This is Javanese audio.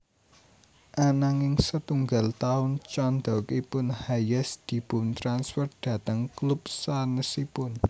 Ananging setunggal taun candhakipun Hayes dipuntransfer dhateng klub sanèsipun